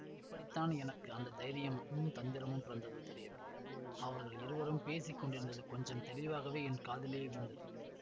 எப்படி தான் எனக்கு அந்த தைரியமும் தந்திரமும் பிறந்ததோ தெரியவில்லை அவர்கள் இருவரும் பேசி கொண்டிருந்தது கொஞ்சம் தெளிவாகவே என் காதிலே விழுந்தது